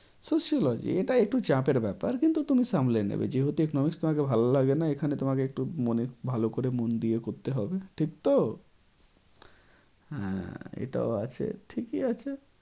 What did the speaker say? Sociology এটা একটু চাপের ব্যাপার কিন্তু সামলে নেবে যেহেতু economic তোমাকে ভালো লাগে না এখানে তোমাকে একটু মনে ভালো করে মন দিয়ে করতে হবে ঠিক তো? হ্যাঁ এটাও আছে ঠিকই আছে।